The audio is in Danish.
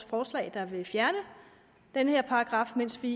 forslag der vil fjerne den her paragraf mens vi